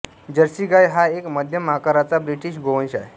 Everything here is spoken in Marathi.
जर्सी गाय हा एक मध्यम आकाराचा ब्रिटिश गोवंश आहे